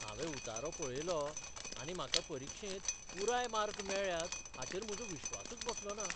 हांवें उतारो पळयलो आनी म्हाका परीक्षेंत पुराय मार्क मेळ्ळ्यात हाचेर म्हजो विश्वासूच बसलोना.